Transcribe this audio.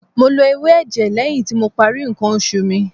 Mo lo ewé ẹ̀jẹ̀ lẹ́yìn tí mo parí ǹkan oṣù mi.